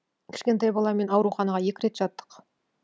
кішкентай баламен ауруханаға екі рет жаттық